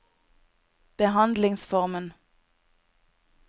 behandlingsformen